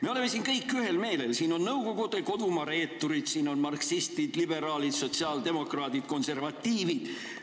Me oleme siin kõik ühel meelel: siin on Nõukogude kodumaa reeturid, siin on marksistid, liberaalid, sotsiaaldemokraadid, konservatiivid.